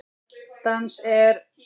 Dans er?